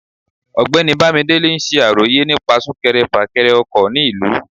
ọgbẹni bamidele n ṣe àrọyé nípa sunkèré-fakere ọkọ ní ìlú